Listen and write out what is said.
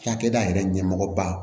Cakɛda yɛrɛ ɲɛmɔgɔba